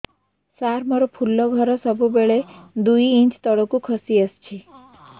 ସାର ମୋର ଫୁଲ ଘର ସବୁ ବେଳେ ଦୁଇ ଇଞ୍ଚ ତଳକୁ ଖସି ଆସିଛି